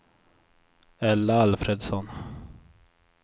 Ella Alfredsson